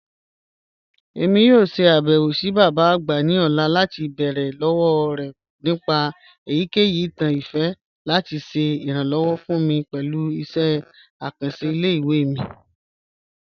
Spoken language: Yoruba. Emi yoo ṣe abẹwo si baba agba ni ọla lati beere lọwọ rẹ nipa eyikeyi itan ifẹ lati ṣe iranlọwọ fun mi pẹlu iṣẹ akanṣe ile-iwe mi.